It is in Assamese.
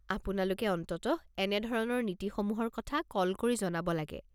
আপোনালোকে অন্ততঃ এনে ধৰণৰ নীতিসমূহৰ কথা কল কৰি জনাব লাগে।